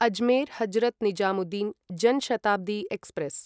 Ajmer Hazrat Nizamuddin Jan Shatabdi express